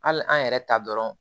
Hali an yɛrɛ ta dɔrɔn